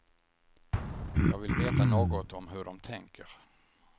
Jag vill veta något om hur de tänker.